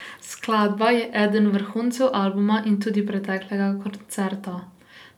Skladba je eden vrhuncev albuma in tudi preteklega koncerta.